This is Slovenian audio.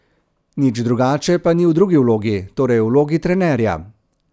Nič drugače pa ni v drugi vlogi, torej v vlogi trenerja.